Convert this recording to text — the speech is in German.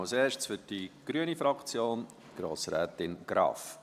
Zuerst für die grüne Fraktion, Grossrätin Graf.